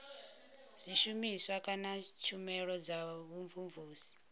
zwishumiswa kana tshumelo dza vhumvumvusi